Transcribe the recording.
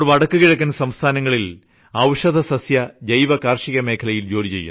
അവർ വടക്കു കിഴക്കൻ സംസ്ഥാനങ്ങളിൽ ഔഷധസസ്യ ജൈവ കാർഷികമേഖലയിൽ ജോലി ചെയ്യുന്നു